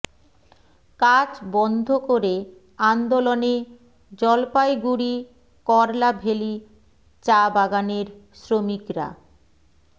কাজ বন্ধ করে আন্দোলনে জলপাইগুড়ি করলাভেলী চা বাগানের শ্রমিকরা